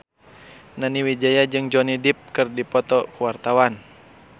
Nani Wijaya jeung Johnny Depp keur dipoto ku wartawan